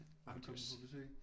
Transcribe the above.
At hun kommer på besøg